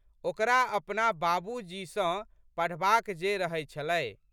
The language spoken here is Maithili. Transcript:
ओकरा अपना बाबूजी सँ पढ़बाक जे रहै छलै।